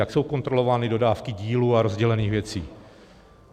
Jak jsou kontrolovány dodávky dílů a rozdělených věcí?